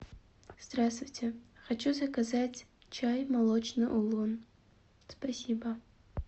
здравствуйте хочу заказать чай молочный улун спасибо